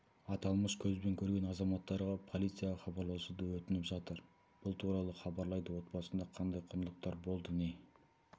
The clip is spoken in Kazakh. аталмыш көзбен көрген азаматтарға полицияға хабарласуды өтініп жатыр бұл туралы хабарлайды отбасында қандай құндылықтар болды не